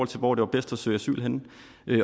til hvor det var bedst at søge asyl henne